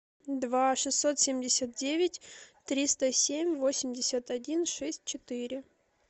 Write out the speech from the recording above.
два шестьсот семьдесят девять триста семь восемьдесят один шесть четыре